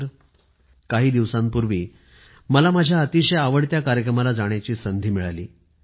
काही दिवसांपूर्वी मला माझ्या अतिशय आवडत्या कार्यक्रमाला जाण्याची संधी मिळाली